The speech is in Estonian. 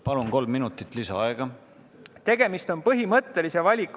Palun, kolm minutit lisaaega!